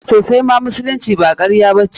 Sosaima, musulunci ba karya ba ce.